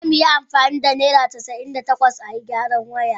Za mu yi amfani da naira casa'in da takwas a yi gyaran waya.